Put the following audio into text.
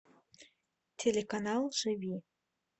телеканал живи